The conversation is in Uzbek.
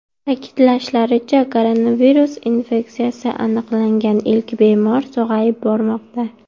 Ta’kidlashlaricha, koronavirus infeksiyasi aniqlangan ilk bemorlar sog‘ayib bormoqda .